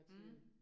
Mh